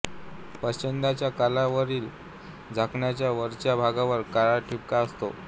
प्रच्छदाच्या कल्लयावरील झाकणाच्या वरच्या भागावर काळा ठिपका असतो